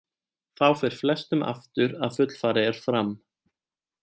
Þá fer flestum aftur að fullfarið er fram.